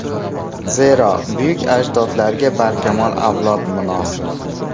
Zero, buyuk ajdodlarga barkamol avlod munosib”.